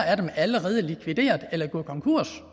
af dem allerede likvideret eller gået konkurs